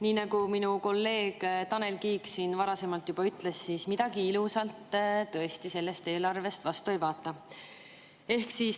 Nii nagu minu kolleeg Tanel Kiik siin varasemalt juba ütles, midagi ilusat tõesti sellest eelarvest vastu ei vaata.